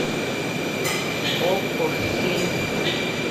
окко фильм